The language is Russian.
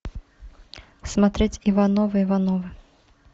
смотреть ивановы ивановы